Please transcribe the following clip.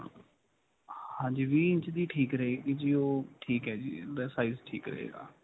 ਹਾਂਜੀ ਵੀਹ ਇੰਚ ਦੀ ਠੀਕ ਰਹੇਗੀ ਜੀ. ਉਹ ਠੀਕ ਹੈ ਜੀ ਇਹਦਾ size ਠੀਕ ਰਹੇਗਾ.